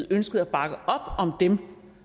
ønskede at bakke op om dem